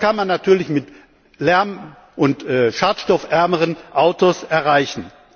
Das kann man natürlich mit lärm und schadstoffärmeren Autos erreichen.